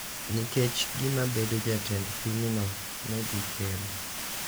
Nikech gima bedo jatend pinyno ne dhi kelo.